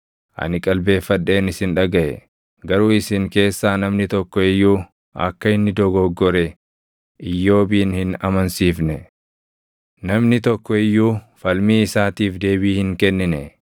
ani qalbeeffadheen isin dhagaʼe. Garuu isin keessaa namni tokko iyyuu akka inni dogoggore // Iyyoobin hin amansiifne; namni tokko iyyuu falmii isaatiif deebii hin kennine.